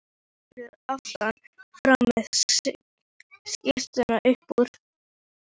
Þú ert fallegur aftan frá með skyrtuna upp úr.